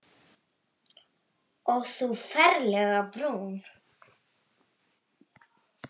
Og þú ferlega brún.